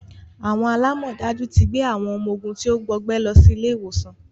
Awọn alamọdaju ti gbé awọn ọmọ ogún ti o gbọgbẹ lọ si awọn ile-iwosan